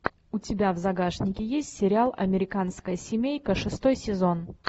у тебя в загашнике есть сериал американская семейка шестой сезон